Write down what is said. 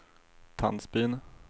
Tandsbyn